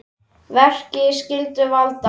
Verki skyldu valda